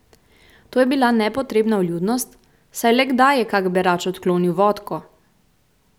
To je bila nepotrebna vljudnost, saj le kdaj je kak berač odklonil vodko?